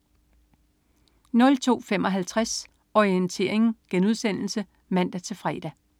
02.55 Orientering* (man-fre)